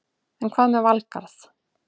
En hvað með Valgarð?